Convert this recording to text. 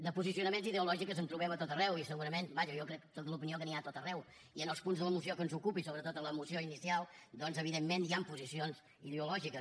de posicionaments ideològics en trobem a tot arreu i segurament vaja jo sóc de l’opinió que n’hi ha a tot arreu i en els punts de la moció que ens ocupa i sobretot a la moció inicial doncs evidentment hi han posicions ideològiques